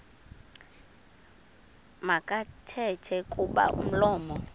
makathethe kuba umlomo